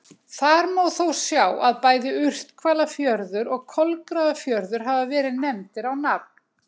Þar má þó sjá að bæði Urthvalafjörður og Kolgrafafjörður hafa verið nefndir á nafn.